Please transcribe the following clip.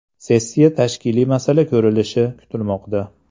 Sessiya tashkiliy masala ko‘rilishi kutilmoqda.